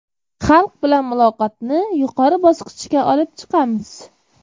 Xalq bilan muloqotni yuqori bosqichga olib chiqamiz.